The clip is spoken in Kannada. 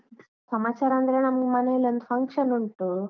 ಸಮಾಚಾರ ಅಂದ್ರೆ ನಮ್ ಮನೆಯಲ್ಲಿ ಒಂದು function ಉಂಟು.